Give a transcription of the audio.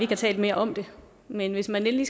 talt mere om det men hvis endelig